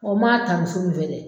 O maa ta ni sugu fɛ dɛ.